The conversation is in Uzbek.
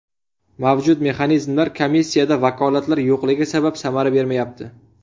Mavjud mexanizmlar komissiyada vakolatlar yo‘qligi sabab samara bermayapti.